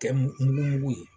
Kɛ mu mugu mugu ye